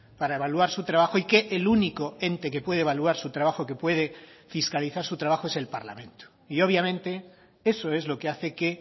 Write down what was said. para evaluar su trabajo y que el único ente que puede evaluar su trabajo que puede fiscalizar su trabajo es el parlamento y obviamente eso es lo que hace que